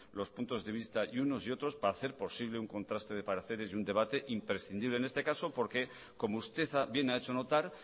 los puntos de vista y unos y otros para hacer posible un contraste de pareceres y un debate imprescindible en este caso porque como usted bien ha hecho notar